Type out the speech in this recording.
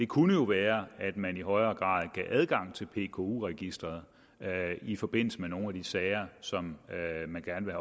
kunne jo være at man i højere grad gav adgang til pku registeret i forbindelse med nogle sager som man gerne vil